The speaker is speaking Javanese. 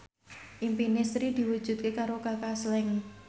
impine Sri diwujudke karo Kaka Slank